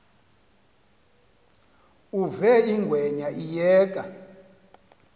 uve ingwenya iyeka